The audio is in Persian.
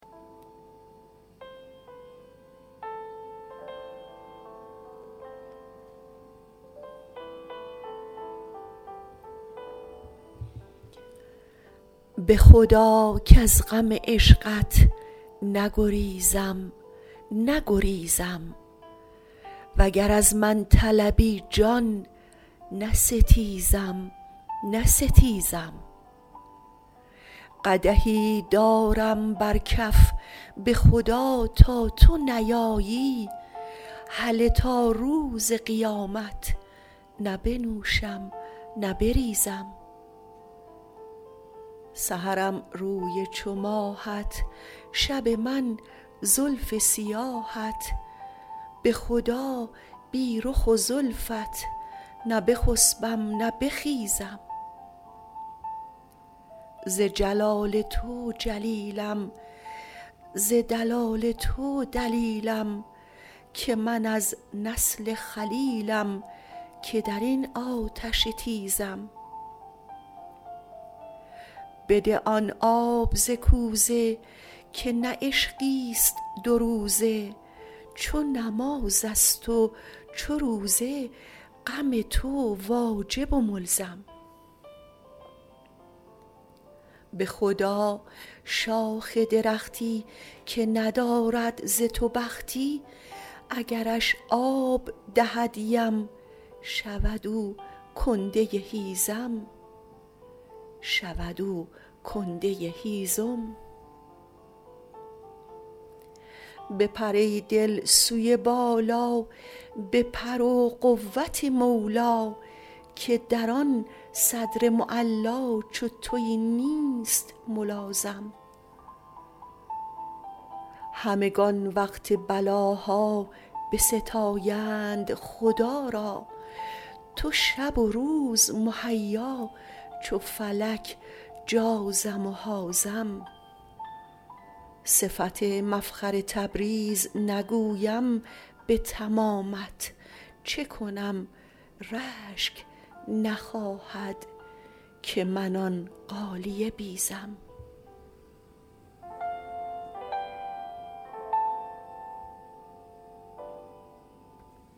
به خدا کز غم عشقت نگریزم نگریزم وگر از من طلبی جان نستیزم نستیزم قدحی دارم بر کف به خدا تا تو نیایی هله تا روز قیامت نه بنوشم نه بریزم سحرم روی چو ماهت شب من زلف سیاهت به خدا بی رخ و زلفت نه بخسبم نه بخیزم ز جلال تو جلیلم ز دلال تو دلیلم که من از نسل خلیلم که در این آتش تیزم بده آن آب ز کوزه که نه عشقی است دوروزه چو نماز است و چو روزه غم تو واجب و ملزم به خدا شاخ درختی که ندارد ز تو بختی اگرش آب دهد یم شود او کنده هیزم بپر ای دل سوی بالا به پر و قوت مولا که در آن صدر معلا چو توی نیست ملازم همگان وقت بلاها بستایند خدا را تو شب و روز مهیا چو فلک جازم و حازم صفت مفخر تبریز نگویم به تمامت چه کنم رشک نخواهد که من آن غالیه بیزم